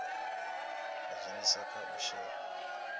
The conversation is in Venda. ha dzhenisa kha u shela